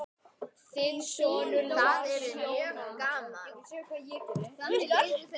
Þinn sonur, Lars Jóhann.